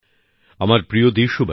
নতুনদিল্লি ৩০শে জানুয়ারি ২০২২